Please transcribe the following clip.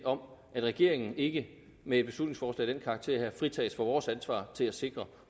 om at regeringen ikke med et beslutningsforslag karakter fritages for vores ansvar til at sikre